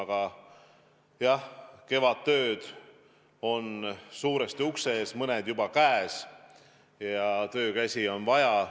Aga jah, kevadtööd on suuresti ukse ees, mõned juba käes, ja töökäsi on vaja.